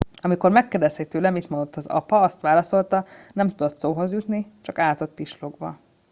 "amikor megkérdezték tőle mit mondott az apa azt válaszolta "nem tudott szóhoz jutni - csak állt ott pislogva.""